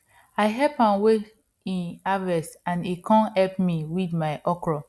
i help am weigh e harvest and he come help me weed my okro